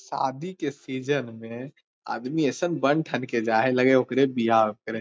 शादी के सीजन में आदमी अइसन बन ठन के जा हई लग हई ओकरे बियाह